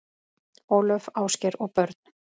Ólöf, Ásgeir og börn.